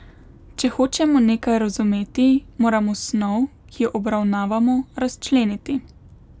Če hočemo nekaj razumeti, moramo snov, ki jo obravnavamo, razčleniti.